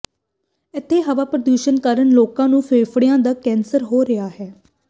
ਇਥੇ ਹਵਾ ਪ੍ਰਦੁਸ਼ਣ ਕਾਰਨ ਲੋਕਾਂ ਨੂੰ ਫੇਫੜਿਆਂ ਦਾ ਕੈਂਸਰ ਹੋ ਰਿਹਾ ਹੈ